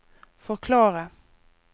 forklare